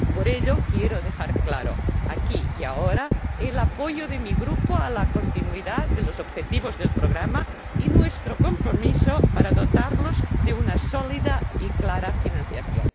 Por ello, quiero dejar claro, aquí y ahora, el apoyo de mi Grupo a la continuidad de los objetivos del programa y nuestro compromiso para dotarlo de una sólida y clara financiación.